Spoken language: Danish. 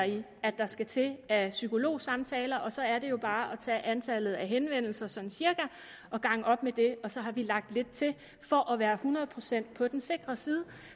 at der typisk skal til af psykologsamtaler så er det jo bare at tage antallet af henvendelser sådan cirka og gange op med det og så har vi lagt lidt til for at være hundrede procent på den sikre side